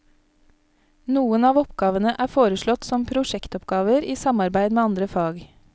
Noen av oppgavene er foreslått som prosjektoppgaver i samarbeid med andre fag.